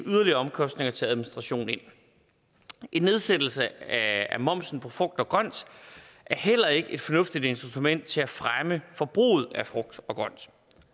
yderligere omkostninger til administration ind en nedsættelse af momsen på frugt og grønt er heller ikke et fornuftigt instrument til at fremme forbruget af frugt og grønt